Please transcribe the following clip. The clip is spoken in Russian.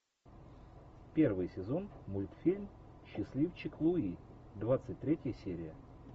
первый сезон мультфильм счастливчик луи двадцать третья серия